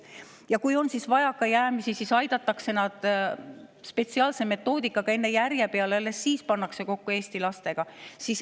Ja kui on vajakajäämisi, siis aidatakse nad spetsiaalse metoodikaga enne järje peale ja alles siis pannakse eesti lastega kokku.